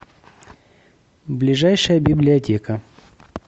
ближайшая библиотека